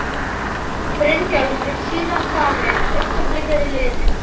Íslendingur kaus frúna meðan hennar naut við í pólitík.